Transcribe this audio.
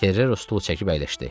Ferrero stulu çəkib əyləşdi.